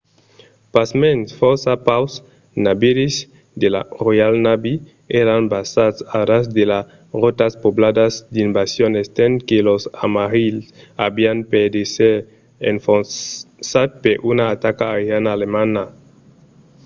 pasmens fòrça paucs naviris de la royal navy èran basats a ras de las rotas probablas d'invasion estent que los amiralhs avián paur d'èsser enfonzats per una ataca aeriana alemanda